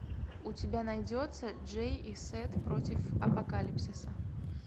у тебя найдется джей и сет против апокалипсиса